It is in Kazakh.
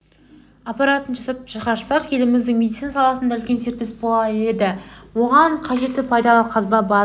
аппаратын жасап шығарсақ еліміздің медицина саласында үлкен серпіліс болар еді оған кажетті пайдалы қазба база